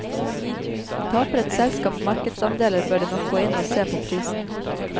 Taper et selskap markedsandeler, bør det nok gå inn og se på prisen.